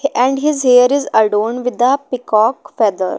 And his hair is adon with a peacock feather.